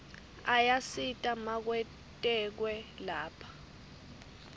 ayasita makwetekwe lapha